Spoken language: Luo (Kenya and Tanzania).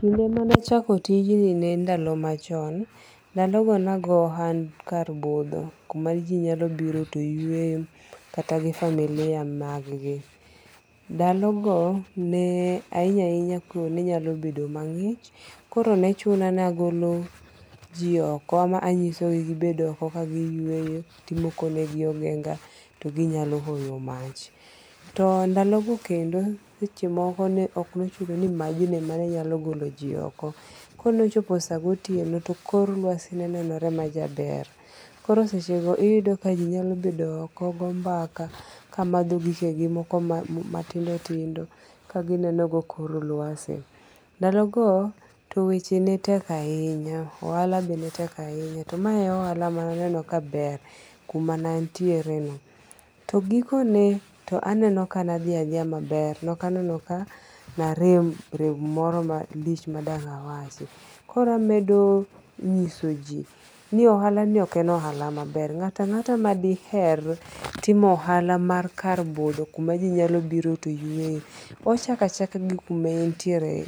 Kinde mana achako tiji ne en ndalo macho, ndalogo nago hohand kar butho, kumaji nyalo biro to yueyo kata gi familia magigi, ndalogo ne ahinya ahinya koyo ne nyalo bedo magi'ch koro nechuna ni agolo ji oko ma anyisogi gibed oko ka giyueyo timokonegi ogenga ti ginyalo oyo mach to ndalogo kendo seche moko ne ok ne ochuno ni majno emanenyalo goloji oko kane ochopo sagotieno to kor lwasi ne nenore majaber koro sechego iyudo ka jinyalo bedo oko ka go mbaka ka matho gikegi moko ma tindo tindo kaginenogo kor lwase ndalogo to weche tek ahinya to mae ohala mana neno ka ber kuma antiere to gikone to aneno ka na thiya athiya bar nokaneno ka narem rem moro malich madanga awachi, koro amedo nyiso ji ni ohalani ok en ohala maber ngato angata madiher timo ohala mar kar butho kuma ji nyalo biro to yueyo ochako achaka gi kuma entiere